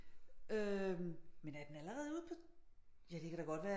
Øh men er den allerede ude på ja det kan da godt være